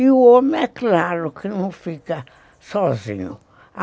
E o homem é claro que não fica sozinho.